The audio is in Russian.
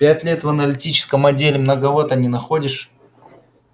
пять лет в аналитическом отделе многовато не находишь